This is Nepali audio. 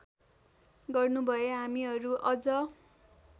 गर्नुभए हामीहरू अझ